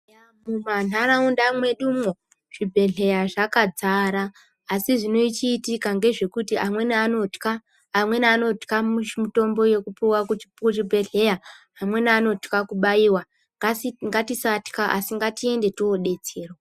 Eya mumantaraunda mwedumwo, zvibhedhleya zvakadzara, asi zvinochiitika ngezvekuti amweni anotya, amweni anotya mitombo yekupuwa muchibhedhleya , amweni anotya kubaiwa. Ngatisa ngatisatya, asi ngatiende tinodetserwa.